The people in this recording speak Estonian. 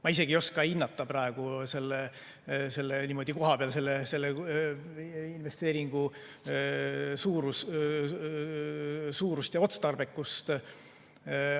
Ma ei oska hinnata praegu kohapeal selle investeeringu suurust ja otstarbekust.